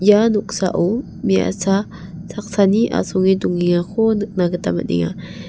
ia noksao me·asa saksani asonge dongengako nikna gita man·enga.